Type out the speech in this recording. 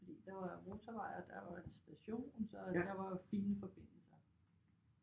Fordi der var jo motorvej og der var en station så der var jo fine forbindelser